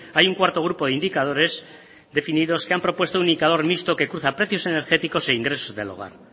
hay un cuarto grupo de indicadores definidos que han propuesto un indicador mixto que cruza precios energéticos e ingresos del hogar